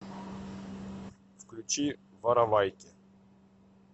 включи воровайки